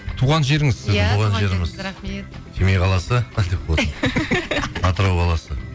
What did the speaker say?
туған жеріңіз сіздің семей қаласы деп қойсаң атырау қаласы